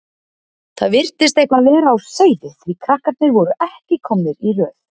Það virtist eitthvað vera á seyði því að krakkarnir voru ekki komnir í röð.